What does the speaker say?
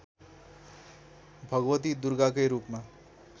भगवती दुर्गाकै रूपमा